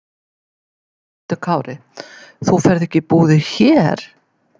Höskuldur Kári: Þú ferð ekki í búðir hér?